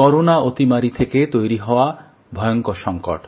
corona মহামারী থেকে তৈরি হওয়া ভয়ঙ্কর সংকট